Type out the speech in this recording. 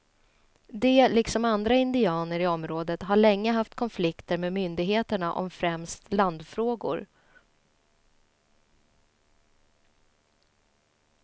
De liksom andra indianer i området har länge haft konflikter med myndigheterna om främst landfrågor.